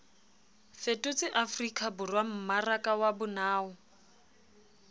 fetotse afrikaborwa mmaraka wa bonao